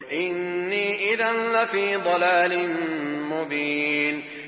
إِنِّي إِذًا لَّفِي ضَلَالٍ مُّبِينٍ